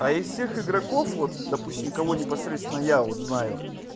а из всех игроков вот допустим кого непосредственно я вот знаю